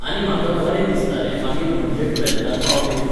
आनी म्हाका बरें दिसतालें मागीर म्हणजे टुवॅल्तान पावलें की.